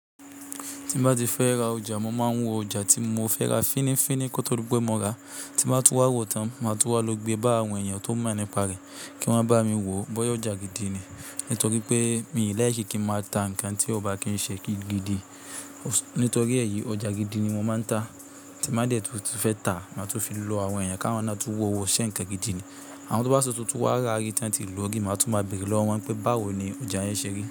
Tín bá ti fẹ́ ra ọjà, mo máa ń wọ ọjà tí mo fẹ́ ra fínnífínní kó tó dí pé mo ràá. Tín bá tún wá wò tán, máa tún wá lọ gbé bá àwọn èèyàn tó mọ̀ nípa rẹ̀, kí wọ́n bá mi wò ó. Bọ́yá ọjà gidi ni, nítorí pé mi o like kíń máa ta nǹkan tí ọ ba kìn ṣe gidi gidi Nítorí èyí, ọjà gidi ni mo máa ń ta. Tín ba dẹ̀ tu tifẹ́ ta, màá tún fi lọ àwọn èèyàn ká wọn na tun wò ó ṣe ńkan gidi ni. Àwọn tun bá tun tiwa rárí tí wọ́n tilò ó ri, màá tún máa bèrè lọ́wọ́ wọn pé báwo ni ọjà yẹn ṣe rí.